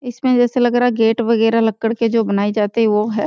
इसमें जैसा लग रहा जैसे गेट वगेरा लक्क्ड़ के जो बनाये जाते हैं वो हैं।